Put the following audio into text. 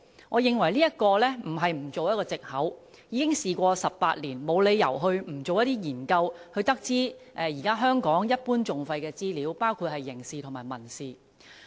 我認為這不能作為一個藉口，因為已經事過18年，當局沒理由不進行一些研究，從而得知香港現時一般訟費的資料，包括刑事和民事訴訟。